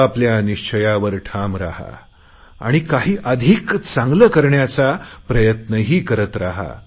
आपल्या आपल्या निश्चियावर ठाम राहा आणि काही अधिक चांगले करण्याचा प्रयत्नही करीत राहा